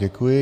Děkuji.